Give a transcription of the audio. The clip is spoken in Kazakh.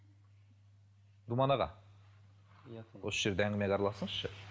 думан аға иә осы жерде әңгімеге араласыңызшы